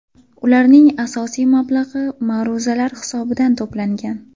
Ularning asosiy mablag‘i ma’ruzalar hisobidan to‘plangan.